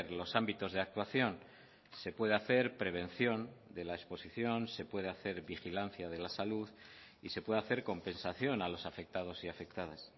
los ámbitos de actuación se puede hacer prevención de la exposición se puede hacer vigilancia de la salud y se puede hacer compensación a los afectados y afectadas